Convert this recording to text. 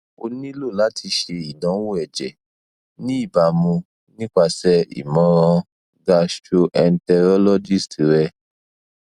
o nilo lati ṣe idanwo ẹjẹ ni ibamu nipase imọran gastroenterologist rẹ